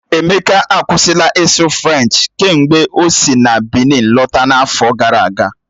Emeka akwụsịla ịsụ Frenchi kemgbe o si Bịnin lọta n'afọ gara aga.